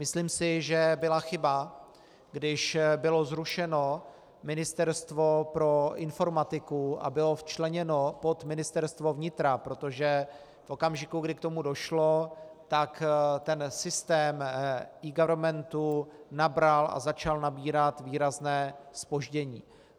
Myslím si, že byla chyba, když bylo zrušeno Ministerstvo pro informatiku a bylo včleněno pod Ministerstvo vnitra, protože v okamžiku, kdy k tomu došlo, tak ten systém eGovernmentu nabral a začal nabírat výrazné zpoždění.